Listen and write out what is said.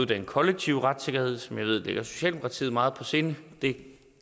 den kollektive retssikkerhed som jeg ved ligger socialdemokratiet meget på sinde det